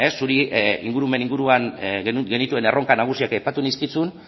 zuri ere ingurumen inguruan genituen erronka nagusiak aipatu nizkizun